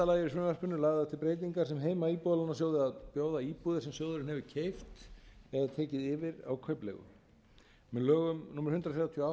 lagi í frumvarpinu eru lagðar til breytingar sem heimila íbúðalánasjóði að bjóða íbúðir sem sjóðurinn hefur keypt eða tekið yfir á kaupleigu með lögum númer hundrað þrjátíu og átta tvö þúsund